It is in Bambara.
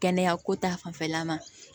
Kɛnɛya ko ta fanfɛla ma